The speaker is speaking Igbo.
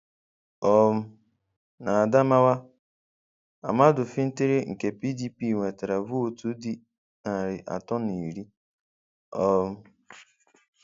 um N' Adamawa Ahmadu Fintiri nke PDP nwetara Vootu dị narị atọ na iri. um